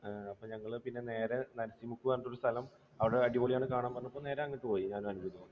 അഹ് അപ്പോൾ ഞങ്ങൾ പിന്നെ നേരെ പറഞ്ഞൊരു സ്ഥലം അവിടെ അടിപൊളിയാണ് കാണാൻ. ഞങ്ങൾ പിന്നെ നേരെ അങ്ങോട്ടു പോയി.